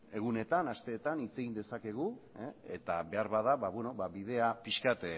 egunetan asteetan hitz egin dezakegu eta beharbada bidea pixka bat